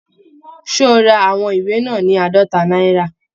Ṣé o ra àwọn ìwé náà ní àádọ́ta náírà?